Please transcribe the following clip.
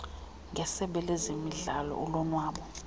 ngesebe lezemidlalo ulonwabo